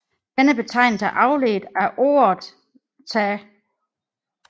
Denne betegnelse er afledt af ordet tä